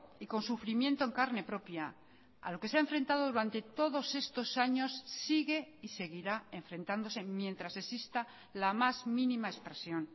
y con sufrimiento en carne propia a lo que se ha enfrentado durante todos estos años sigue y seguirá enfrentándose mientras exista la más mínima expresión